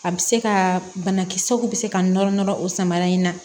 A bɛ se ka banakisɛw bɛ se ka nɔrɔ nɔrɔ o samara in na